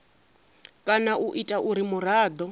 kana u ita uri muraḓo